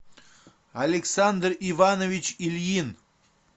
александр иванович ильин